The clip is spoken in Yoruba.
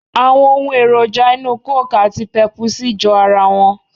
Àwon ohun èròjà inú coke àti pèpùsí jọ ara won.